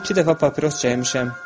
Mən iki dəfə papiros çəkmişəm.